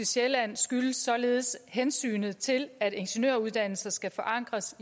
sjælland skyldes således hensynet til at ingeniøruddannelser skal forankres